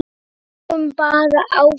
Við fengum bara áfall.